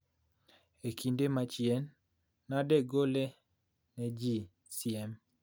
E kinde machien, nadegole ne ji siem